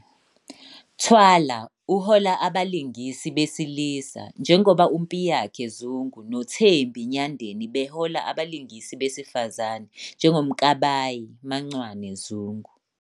Thwala uhola abalingisi besilisa njengoba uMpiyakhe Zungu noThembi Nyandeni behola abalingisi besifazane njengoMkabayi "MaNcwane" Zungu.